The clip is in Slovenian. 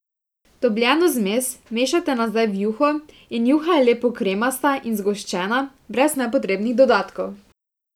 Dobljeno zmes vmešate nazaj v juho in juha je lepo kremasta in zgoščena brez nepotrebnih dodatkov!